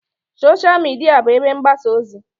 Sosha Midia bụ ebe mgbasa ozi.